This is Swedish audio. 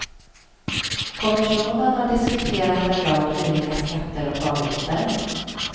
Kommissionen har diskuterat en rad olika skatter och avgifter.